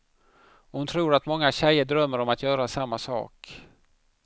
Och hon tror att många tjejer drömmer om att göra samma sak.